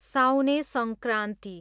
Saune Sankranti